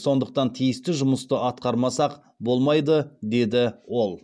сондықтан тиісті жұмысты атқармасақ болмайды деді ол